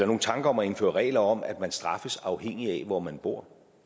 nogen tanker om at indføre regler om at man straffes afhængigt af hvor man bor